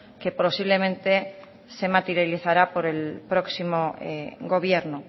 que posiblemente se materializará por el próximo gobierno